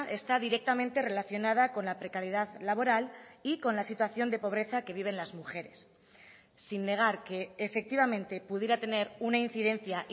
está directamente relacionada con la precariedad laboral y con la situación de pobreza que viven las mujeres sin negar que efectivamente pudiera tener una incidencia